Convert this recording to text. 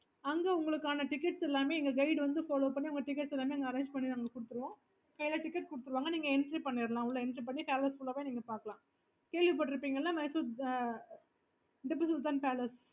அங்க உங்களுக்கான tickets எல்லாமே எங்க guide வந்து follow பண்ணி உங்க tickets எல்லாமே arrange பண்ணி குடுப்பாங்க